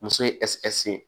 Muso ye ye